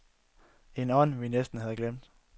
En ånd, vi næsten havde glemt.